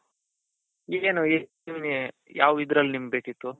ಈಗೇನು ನಿಮ್ಗೆ ಯಾವ್ ಇದ್ರಲ್ಲಿ ನಿಮಗೆ ಬೇಕಿತ್ತು?